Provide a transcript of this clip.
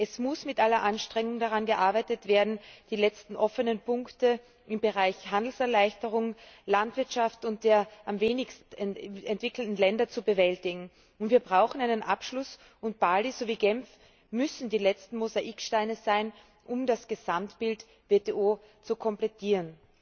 Es muss mit aller Anstrengung daran gearbeitet werden, die letzten offenen Punkte in den Bereichen Handelserleichterung, Landwirtschaft und am wenigsten entwickelte Länder zu bewältigen. Wir brauchen einen Abschluss, und Bali sowie Genf müssen die letzten Mosaiksteine sein, um das Gesamtbild WTO zu komplettieren.